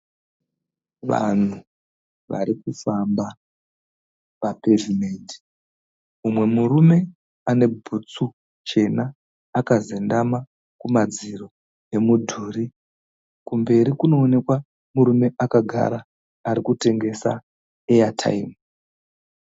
Vanhu varikufamba papevhimende mumwe murume ane bhutsu chena akazendama kumadziro emudhuri, kumberi kunoonekwa murume akagara ari kutengesa airtime.